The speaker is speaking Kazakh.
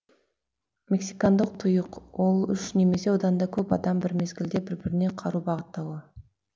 мексикандық тұйық ол үш немесе одан да көп адам бір мезгілде бір біріне қару бағыттауы